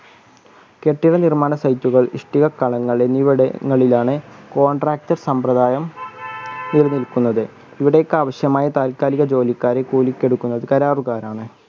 കെട്ടിടം നിർമ്മാണ site കൾ ഇഷ്ടിക കണങ്ങൾ എന്നിവിടങ്ങളിലാണ് contract സമ്പ്രദായം തീർന്നിരിക്കുന്നത് ഇവിടേക്ക് അവശ്യമായ താൽക്കാലിക ജോലിക്കാ രെ കൂലിക്ക് എടുക്കുന്നത് കരാറുകാരാണ്.